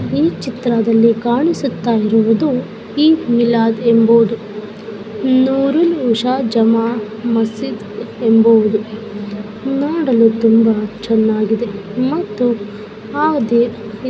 ಈ ಚಿತ್ರದಲ್ಲಿ ಕಾಣಿಸುತ್ತಾ ಇರುವುದು ಈದ್ ಮಿಲಾದ್ ಎಂಬುವುದು ನೂರು ನುಶ ಜಮಾ ಮಾಸಿದ್ ಎಂಬುವುದು ನೋಡಲು ತುಂಬಾ ಚೆನ್ನಾಗಿದೆ ಮತ್ತು ಹಾಗೆ--